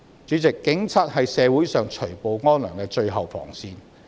主席，警察是社會除暴安良的最後防線。